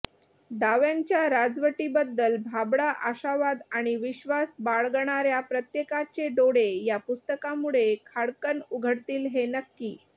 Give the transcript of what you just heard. डाव्यांच्या राजवटीबद्दल भाबडा आशावाद आणि विश्वास बाळगणाऱ्या प्रत्येकाचे डोळे या पुस्तकामुळे खाडकन् उघडतील हे नक्की